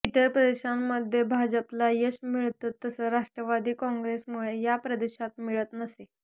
इतर प्रदेशांमध्ये भाजपला यश मिळतं तसं राष्ट्रवादी काँग्रेसमुळे या प्रदेशात मिळत नसे